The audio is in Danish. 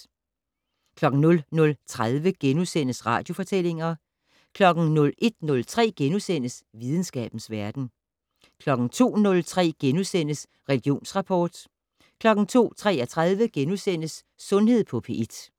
00:30: Radiofortællinger * 01:03: Videnskabens Verden * 02:03: Religionsrapport * 02:33: Sundhed på P1 *